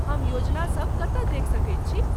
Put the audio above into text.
हम योजनासभ कतय देखि सकैत छी?